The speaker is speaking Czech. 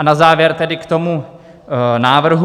A na závěr tedy k tomu návrhu.